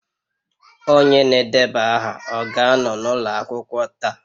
Onye na-edeba aha ọ ga-anọ n'ụlọ akwụkwọ taa?